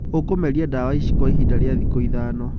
Ũkũmeria ndawa ici kwa ihinda rĩa thikũ ithano.